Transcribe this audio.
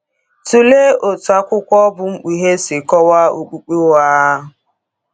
Tụlee otú akwụkwọ bụ́ Mkpughe si kọwaa okpukpe ụgha.